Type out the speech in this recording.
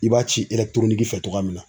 I b'a ci fɛ togoya min na.